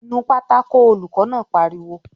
"Nu pátákó!" Olùkọ́ náà pariwo